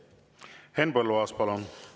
Henn Põlluaas, palun!